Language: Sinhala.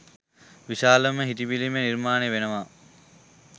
විශාලම හිටි පිළිම නිර්මාණය වෙනවා.